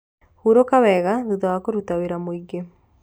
Huruka wega thutha wa kũrũta wĩra mũingĩ